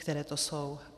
Které to jsou?